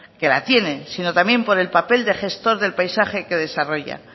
que la tiene sino también por el papel de gestor del paisaje que desarrolla